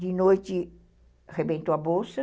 De noite, arrebentou a bolsa.